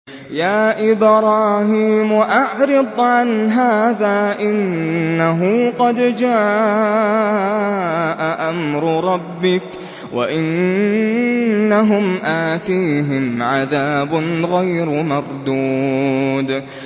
يَا إِبْرَاهِيمُ أَعْرِضْ عَنْ هَٰذَا ۖ إِنَّهُ قَدْ جَاءَ أَمْرُ رَبِّكَ ۖ وَإِنَّهُمْ آتِيهِمْ عَذَابٌ غَيْرُ مَرْدُودٍ